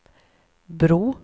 bro